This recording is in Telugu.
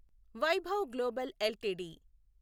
Vaibhav global LTD